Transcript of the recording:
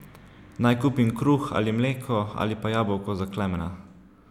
Naj kupim kruh ali mleko ali pa jabolko za Klemena?